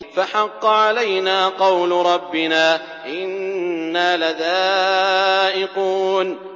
فَحَقَّ عَلَيْنَا قَوْلُ رَبِّنَا ۖ إِنَّا لَذَائِقُونَ